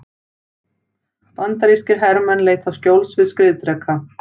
Bandarískir hermenn leita skjóls við skriðdreka.